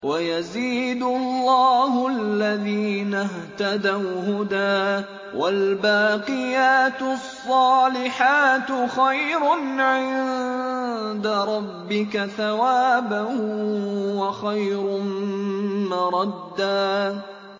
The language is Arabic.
وَيَزِيدُ اللَّهُ الَّذِينَ اهْتَدَوْا هُدًى ۗ وَالْبَاقِيَاتُ الصَّالِحَاتُ خَيْرٌ عِندَ رَبِّكَ ثَوَابًا وَخَيْرٌ مَّرَدًّا